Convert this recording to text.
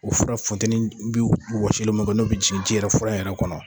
O fura funtɛni n'o bɛ wɔsili min kɛ n'o bɛ ji jigin yɛrɛ fura yɛrɛ kɔnɔ